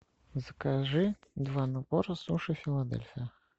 закажи два набора суши филадельфия